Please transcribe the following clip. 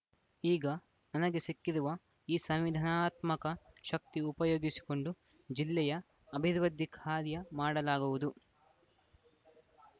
ಈಗ ನನಗೆ ಸಿಕ್ಕಿರುವ ಈ ಸಂವಿಧಾನಾತ್ಮಕ ಶಕ್ತಿ ಉಪಯೋಗಿಸಿಕೊಂಡು ಜಿಲ್ಲೆಯ ಅಭಿವೃದ್ಧಿ ಕಾರ್ಯ ಮಾಡಲಾಗುವುದು